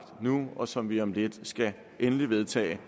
og som vi om lidt skal vedtage